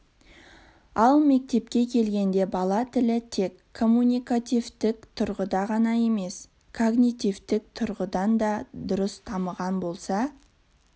ал мектепке келгенде бала тілі тек коммуникативтік тұрғыда ғана емес когнитивтік тұрғыдан да дұрыс дамыған болса